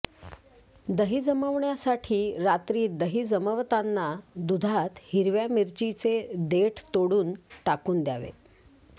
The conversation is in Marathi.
दही जमविण्यासाठी रात्री दही जमवताना दुधात हिरव्या मिरचीचे देठ तोडून टाकून द्यावे